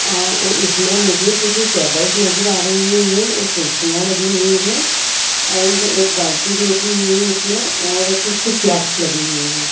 आ ओ इसमें मुझे कुछ टेबल्स नज़र आ रही हैं और कुर्सियाँ लगी हुई हैं एण्ड एक बाल्टी भी रखी हुई है इसमें और कुछ फ्लेक्स लगे हुए हैं।